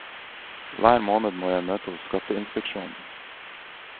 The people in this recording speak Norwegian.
Hver måned må jeg møte hos skatteinspeksjonen.